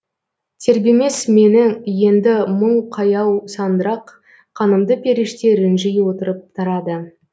тербемес мені енді мұң қаяу сандырақ қанымды періште ренжи отырып тарады